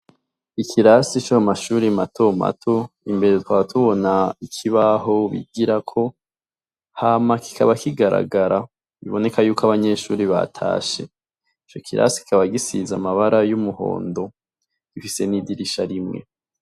Ikirasi co mumashuri mato mato imbere tukaba tubona ikibaho bigirako hama kikaba kigaragara biboneka ko abanyeshure batashe, ico kirasi kikaba gisize amabara yumundo ifise n'idirisha rimwe